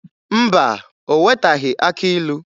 Mba, o wetaghị akị ilu.